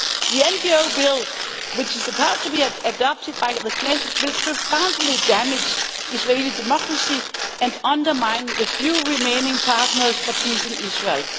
The NGO bill which is about to be adopted by the Knesset will profoundly damage Israeli democracy and undermine the few remaining partners for peace in Israel.